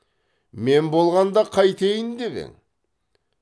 мен болғанда қайтейін деп ең